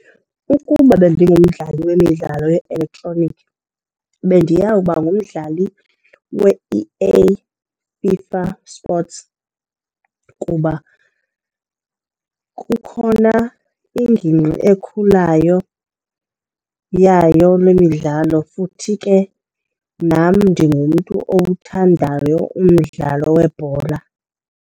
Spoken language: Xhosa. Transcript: Ukuba bendingumdlali wemidlalo ye-elektroniki bendiyawuba ngumdlali we-E_A FIFA Sports kuba kukhona iingingqi ekhulayo yayo le midlalo futhi ke nam ndingumntu owuthandayo umdlalo webhola.